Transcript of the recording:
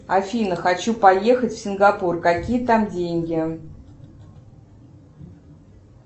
афина хочу поехать в сингапур какие там деньги